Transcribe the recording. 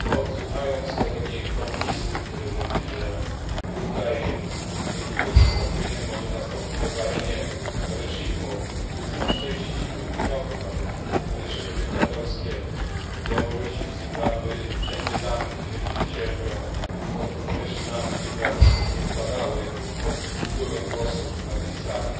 Słuchając kolegi komunisty, który mówi, że tutaj dzięki tym wystąpieniom może nastąpić obalenie reżimu, jestem szczęśliwy i chciałbym, aby reżimy dyktatorskie na Białorusi, w Zimbabwe i wszędzie tam, gdzie ludzie cierpią pod reżimami dyktatorskimi, upadały pod wpływem głosów na tej sali.